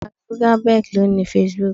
Mark Zuckerberg ni o ni Facebook